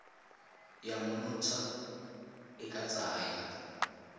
ya monontsha e ka tsaya